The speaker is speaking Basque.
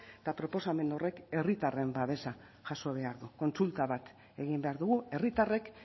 eta proposamen horrek herritarren babesa jaso behar du kontsulta bat egin behar dugu herritarrek